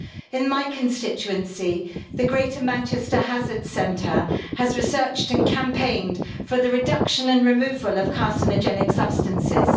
In my constituency, the Greater Manchester Hazards Centre has researched and campaigned for the reduction and removal of carcinogenic substances.